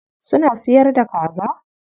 Suna siyar da kaza?